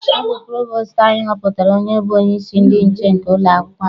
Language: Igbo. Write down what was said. Ọ bụ provostu anyị họpụtara onye bụ onyeisi ndị nche nke ụlọakwụkwọ anyị.